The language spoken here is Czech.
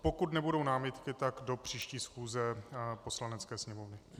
Pokud nebudou námitky, tak do příští schůze Poslanecké sněmovny.